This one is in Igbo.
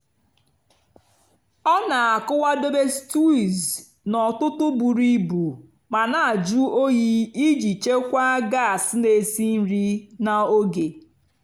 ọ́ nà-ákùwádóbè stíwùz n'ótụtụ́ bùrú íbù mà nà-àjụ́ óyìì ìjì chèkwáà gás nà-èsì nrì nà ógè.